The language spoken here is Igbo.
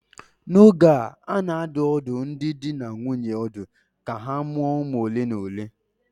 N'oge a, a na-adụ ọdụ ndị di na nwunye ọdụ ka ha mụọ ụmụ ole na ole